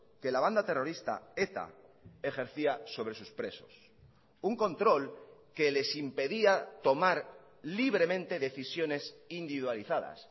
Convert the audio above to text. que la banda terrorista eta ejercía sobre sus presos un control que les impedía tomar libremente decisiones individualizadas